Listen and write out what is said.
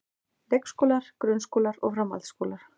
Leikskólar, grunnskólar og framhaldsskólar.